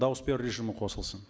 дауыс беру режимі қосылсын